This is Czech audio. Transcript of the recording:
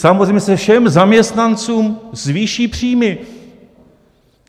Samozřejmě se všem zaměstnancům zvýší příjmy.